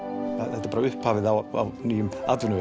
þetta er bara upphafið á nýjum atvinnuvegi